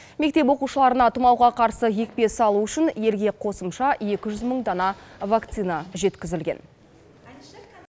мектеп оқушыларына тұмауға қарсы екпе салу үшін елге қосымша екі жүз мың дана вакцина жеткізілген